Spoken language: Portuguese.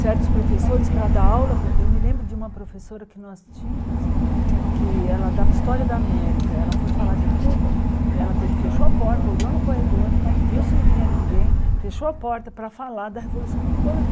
Certos professores para dar aula, eu me lembro de uma professora que nós tínhamos, que ela dava História da América, ela foi falar de Cuba, ela te fechou a porta, olhou no corredor, viu se não vinha ninguém, fechou a porta para falar da Revolução Cubana.